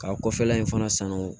Ka kɔfɛla in fana sanu